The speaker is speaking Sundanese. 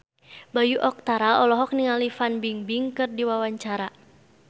Bayu Octara olohok ningali Fan Bingbing keur diwawancara